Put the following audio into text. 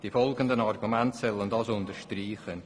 Die folgenden Argumente sollen dies unterstreichen.